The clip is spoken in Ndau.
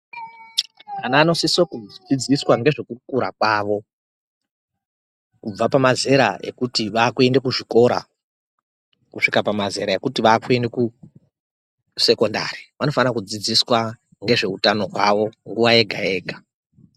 Ana anosisa kudzidziswa ngezvekukura kwavo kubva pamazera ekuti vakuenda kuzvikora kusvika kumazera ekuti vakuenda ku sekondari. Vanofana kudzidziswa ngezveutano hwavo nguwa yega yega.